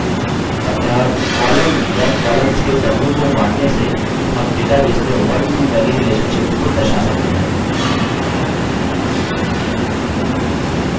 अतः column या columns के समूह को बाँटने से हम database में onetomany relationships को दर्शा सकते हैं